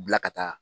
Bila ka taa